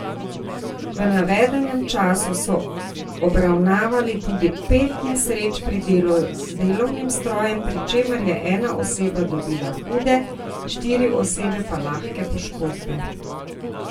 V navedenem času so obravnavali tudi pet nesreč pri delu z delovnim strojem, pri čemer je ena oseba dobila hude, štiri osebe pa lahke poškodbe.